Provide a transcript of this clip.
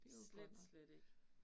Slet slet ikke